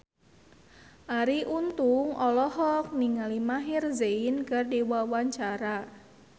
Arie Untung olohok ningali Maher Zein keur diwawancara